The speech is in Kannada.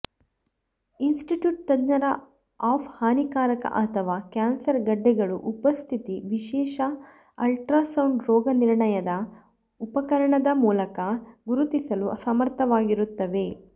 ಇನ್ಸ್ಟಿಟ್ಯೂಟ್ ತಜ್ಞರ ಆಫ್ ಹಾನಿಕಾರಕ ಅಥವಾ ಕ್ಯಾನ್ಸರ್ ಗೆಡ್ಡೆಗಳು ಉಪಸ್ಥಿತಿ ವಿಶೇಷ ಅಲ್ಟ್ರಾಸೌಂಡ್ ರೋಗನಿರ್ಣಯದ ಉಪಕರಣದ ಮೂಲಕ ಗುರುತಿಸಲು ಸಮರ್ಥವಾಗಿರುತ್ತವೆ